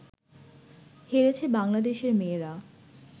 হেরেছে বাংলাদেশের মেয়েরা